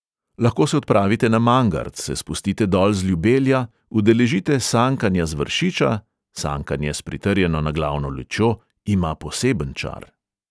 Lahko se odpravite na mangart, se spustite dol z ljubelja, udeležite sankanja z vršiča – sankanje s pritrjeno naglavno lučjo ima poseben čar.